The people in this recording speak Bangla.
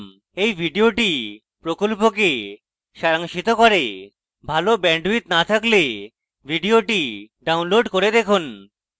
এই video প্রকল্পকে সারাংশিত করে ভাল bandwidth না থাকলে video download করে দেখুন